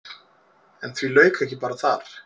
En því lauk ekki bara þar.